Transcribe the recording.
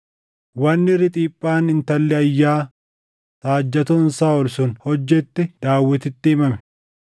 Wanni Riixiphaan intalli Ayyaa saajjatoon Saaʼol sun hojjette Daawititti himame;